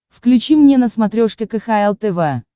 включи мне на смотрешке кхл тв